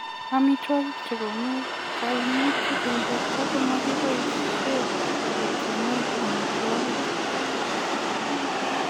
Amitwogik chegonuu kaimuut eng porto komakipaishee ketyemee amitwogik .